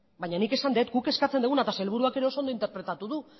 baina nik esan dut guk eskatzen duguna eta sailburuak ere oso ondo interpretatu du